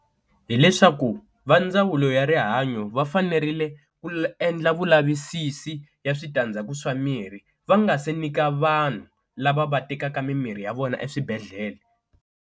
Hi leswaku va ndzawulo ya rihanyo va fanerile ku endla vulavisisi ya switandzhaku swa mirhi va nga se nyika vanhu lava va tekaka mimirhi ya vona eswibedhlele.